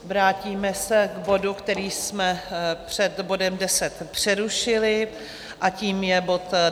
Vrátíme se k bodu, který jsme před bodem 10 přerušili, a tím je bod